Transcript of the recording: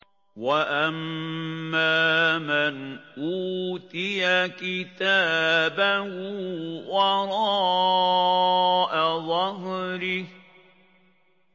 وَأَمَّا مَنْ أُوتِيَ كِتَابَهُ وَرَاءَ ظَهْرِهِ